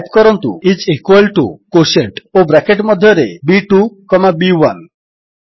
type କରନ୍ତୁ I S equal to quotient ଓ bracket ମଧ୍ୟରେ ବି2 କମା ବି1